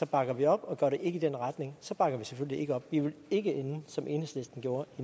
bakker vi op og går det ikke i den retning så bakker vi selvfølgelig ikke op vi vil ikke ende som enhedslisten gjorde